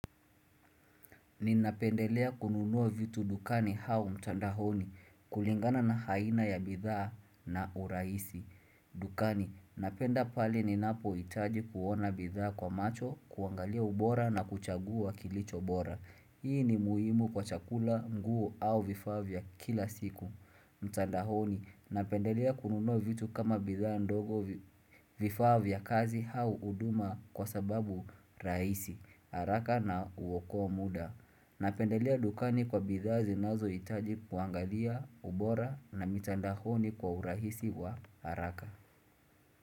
Ni napendelea kununua vitu dukani hau mtandahoni kulingana na haina ya bidhaa na uraisi dukani. Napenda pali ni napo itaji kuona bidhaa kwa macho, kuangalia ubora na kuchagua kilicho bora. Hii ni muhimu kwa chakula nguo au vifaa vya kila siku. Mtandahoni napendelea kununua vitu kama bidhaa ndogo vifaa vya kazi hau uduma kwa sababu raisi, haraka na uokoa muda Napendelea dukani kwa bidhaa zinazo itaji kuangalia, ubora na mitandahoni kwa urahisi wa haraka.